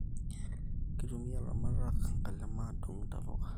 Kitumia ilaramatak nkalema adungu intapuka